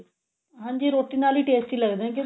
ਹਾਂਜੀ ਰੋਟੀ ਨਾਲ ਈ tasty ਲੱਗਦੇ